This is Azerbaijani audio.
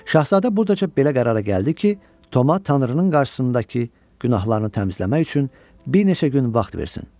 Şahzadə buradaca belə qərara gəldi ki, Toma Tanrının qarşısındakı günahlarını təmizləmək üçün bir neçə gün vaxt versin.